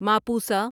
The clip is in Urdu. ماپوسا